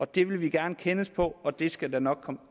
det vil vi gerne kendes på og det skal der nok komme